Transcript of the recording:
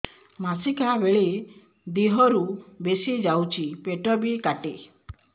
ମାସିକା ବେଳେ ଦିହରୁ ବେଶି ଯାଉଛି ପେଟ ବି କାଟେ